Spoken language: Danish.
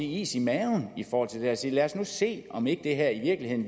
is i maven i forhold til at sige lad os nu se om det her i virkeligheden